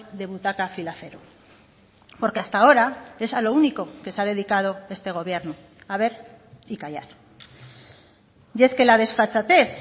de butaca fila cero porque hasta ahora es a lo único que se ha dedicado este gobierno a ver y callar y es que la desfachatez